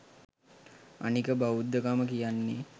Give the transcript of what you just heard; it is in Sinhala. අනික බෞද්ධකම කියන්නේ